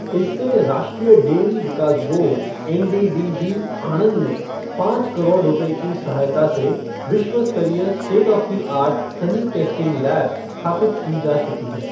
इससे राष्ट्रीय डेयरी विकास बोर्ड एनडीडीबी , आणंद में पाँच करोड़ रुपये की सहायता से विश्वस्तरीय state of the art honey testing lab स्थापित की जा चुकी है।